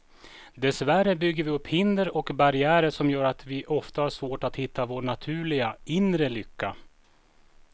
Dessvärre bygger vi upp hinder och barriärer som gör att vi ofta har svårt att hitta vår naturliga, inre lycka.